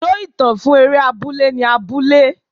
Ibùdó ìtàn fún eré abúlé ni abúlé.